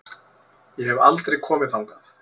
Ég hef aldrei komið þangað.